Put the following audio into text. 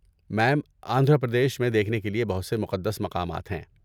میم، آندھرا پردیش میں دیکھنے کے لیے بہت سے مقدس مقامات ہیں۔